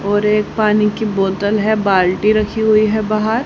और एक पानी की बोतल है बाल्टी रखी हुई है बाहर--